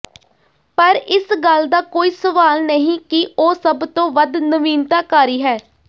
ਪਰ ਇਸ ਗੱਲ ਦਾ ਕੋਈ ਸਵਾਲ ਨਹੀਂ ਕਿ ਉਹ ਸਭ ਤੋਂ ਵੱਧ ਨਵੀਨਤਾਕਾਰੀ ਹੈ